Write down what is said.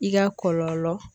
I ka kɔlɔlɔ.